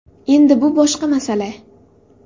Endi bu boshqa masala.